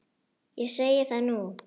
Ég segi það nú!